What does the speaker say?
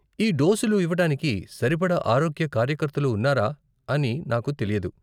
ఈ డోసులు ఇవ్వటానికి సరిపడా ఆరోగ్య కార్యకర్తలు ఉన్నారా అని నాకు తెలీదు.